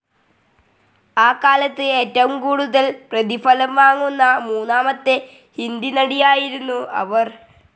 ആ കാലത്ത് ഏറ്റവും കൂടുതൽ പ്രതിഫലം വാങ്ങുന്ന മൂന്നാമത്തെ ഹിന്ദി നടി ആയിരുന്നു അവർ.